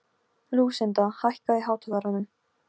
Lúsinda, hækkaðu í hátalaranum.